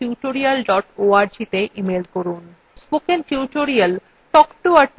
spoken tutorial talk to a teacher প্রকল্পের অংশবিশেষ